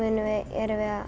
erum við að